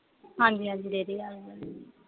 ਹਾਂਜੀ ਹਾਂਜੀ ਡੇਅਰੀ ਆਲੇ ਤੇ